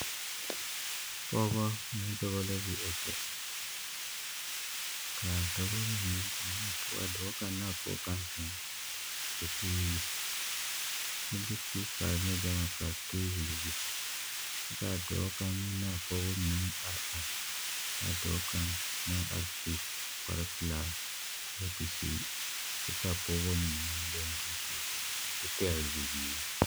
Pɔgebɔ ne dɔbɔ la be a kyɛ ka a dɔbɔ mine a dɔɔ kaŋ ne a pɔge kaŋ a zeŋ dakogi zu kyɛ de peepare ne gama pare teebol zu kyɛ k'a dɔɔ kaŋ meŋ naa pɔgebɔ mine are are, a dɔɔ kaŋ naŋ are su kpare pelaa kooti zeɛ ka a pɔgebɔ mine leŋ duuku kyɛ pɛgele bibiiri.